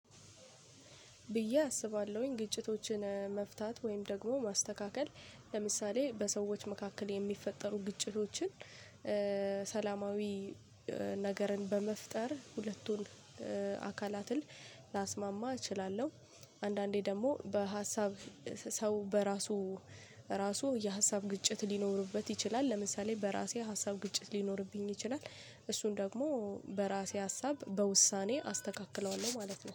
ብዬ አስባለሁኝ ግጭቶችን መፍታት ወይም ደግሞ ማስተካከል። ለምሳሌ በሰዎች መካከል የሚፈጠሩ ግጭቶችን ሰላማዊ ነገርን በመፍጠር ሁለቱን አካላትን ላስማማ እችላለሁ። አንዳንዴ ደግሞ በሀሳብ ሰው በራሱ ራሱ የሀሳብ ግጭት ሊኖርበት ይችላል። ለምሳሌ በራሴ ሀሳብ ግጭት ሊኖርብኝ ይችላል። እሱን ደግሞ በራሴ ሀሳብ በውሳኔ አስተካክለዋለሁ ማለት ነው።